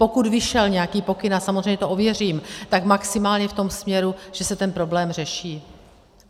Pokud vyšel nějaký pokyn, a samozřejmě to ověřím, tak maximálně v tom směru, že se ten problém řeší.